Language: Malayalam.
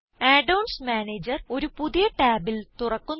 add ഓൺസ് മാനേജർ ഒരു പുതിയ ടാബിൽ തുറക്കുന്നു